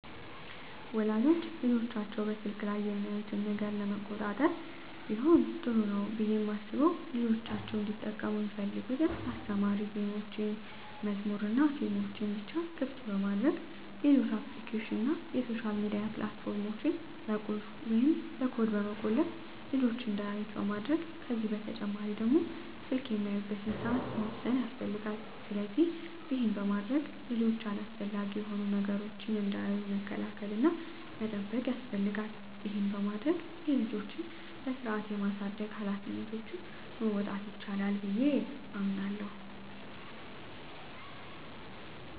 ወላጆች ልጆቻቸው በስልክ ላይ የሚያዩትን ነገር ለመቆጣጠር ቢሆን ጥሩ ነው ብየ ማስበው ልጆቻቸው እንዲጠቀሙ ሚፈልጉትን አስተማሪ ጌሞችን፣ መዝሙሮችንናፊልሞችን ብቻ ክፍት በማድረግ ሌሎች አፕሊኬሽኖችን እና የሶሻል ሚዲያ ፕላት ፎርሞችን በቁልፍ ወይም በኮድ በመቆለፍ ልጅች እንዳያዩት ማድረግ ከዚህ በተጨማሪ ደግሞ ስልክ የሚያዩበትን ሰአት መወሰን ያስፈልጋል። ስለዚህ ይህን በማድረግ ልጆች አላስፈላጊ የሆኑ ነገሮችን እንዳያዩ መከላከል እና መጠበቅ ያስፈልጋል ይህን በማድረግ የልጆችን በስርአት የማሳደግ ሀላፊነቶችን መወጣት ይቻላል።